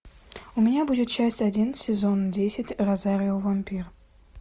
у меня будет часть один сезон десять розарио вампир